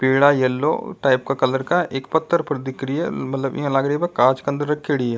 पीला yellow type का colour का एक पत्थर पर दिख रही है मतलब ये यान लाग रही है कांच के अन्दर रखेड़ी है।